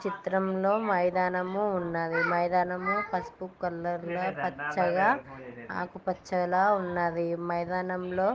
చిత్రంలో మైదానము ఉన్నదీ మైదానము పసుపు కలర్లో పచ్చగా ఆకుపచ్చగా ఉన్నదీ మైదానములో --